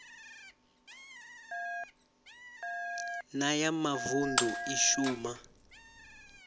na ya mavunḓu i shuma